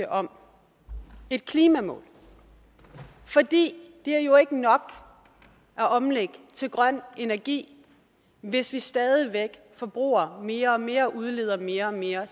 om et klimamål for det er jo ikke nok at omlægge til grøn energi hvis vi stadig væk forbruger mere og mere og udleder mere og mere